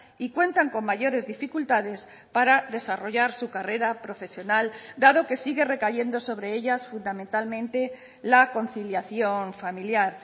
y cuentan con mayores dificultades para desarrollar su carrera profesional dado que sigue recayendo sobre ellas fundamentalmente la conciliación familiar